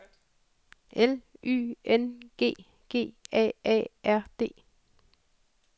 L Y N G G A A R D